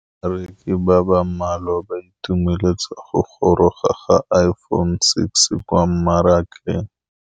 Bareki ba ba malwa ba ituemeletse go gôrôga ga Iphone6 kwa mmarakeng.